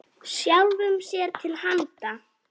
Sjálfum sér til handa.